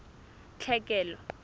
tlhekelo